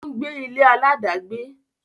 ó ń gbé ilé aláàdágbé.